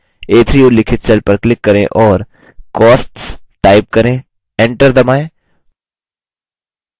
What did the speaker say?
a3 उल्लिखित cell पर click करें और costs टाइप करें enter दबाएँ